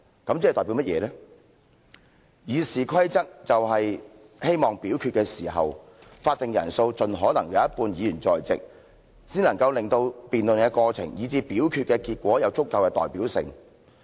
《議事規則》中法定人數的要求，是希望在表決的時候，盡可能有一半的議員在席，令到辯論的過程，以至表決的結果有足夠的代表性。